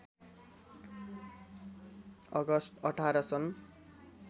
August १८ सन्